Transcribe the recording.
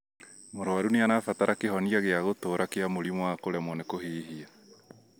Mũrwaru nĩarabatara kĩhonia gĩa gũtũra kia mũrimũ wa kũremwo nĩ kũhihia